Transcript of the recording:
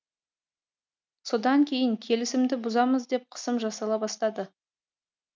содан кейін келісімді бұзамыз деп қысым жасала бастады